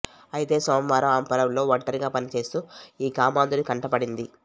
అయితే సోమవారం ఆమె పొలంలో ఒంటరిగా పనిచేస్తూ ఈ కామాంధుడి కంటపడింది